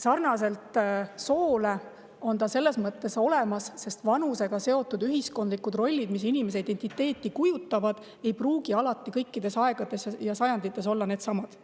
Sarnaselt sooga on see selles mõttes olemas, et vanusega seotud ühiskondlikud rollid, mis inimese identiteeti kujutavad, ei pruugi alati kõikides aegades ja sajandites olla needsamad.